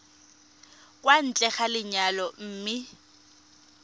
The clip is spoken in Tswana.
kwa ntle ga lenyalo mme